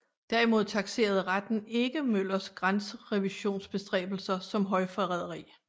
Derimod takserede retten ikke Møllers grænserevisionsbestræbelser som højforræderi